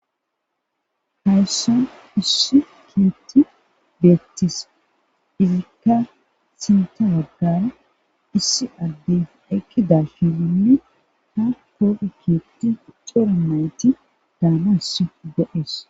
Haysso issi keerhthii bettees izikka sinththa baggara issi addefe ekkida shininne ha koofe keeththicorai coramayti daanas go'es